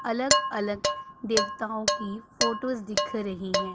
अलग अलग देवताओं की फोटोस दिख रही हैं।